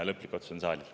Lõplik otsus on saali teha.